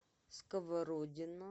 сковородино